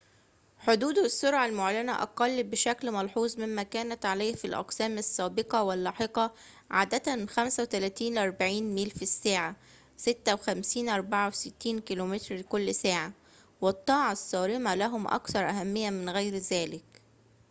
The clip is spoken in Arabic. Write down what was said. حدود السرعة المعلنة أقل بشكل ملحوظ مما كانت عليه في الأقسام السابقة واللاحقة — عادة 35-40 ميل في الساعة 56-64 كم / ساعة — والطاعة الصارمة لهم أكثر أهمية من غير ذلك